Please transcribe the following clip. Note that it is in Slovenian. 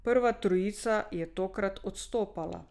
Prva trojica je tokrat odstopala.